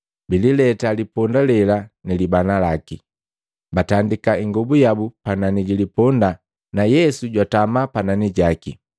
Biilileta liponda lela nilibana laki, batandika ingobu yabu panani ja liponda na Yesu jwatama panani jaki.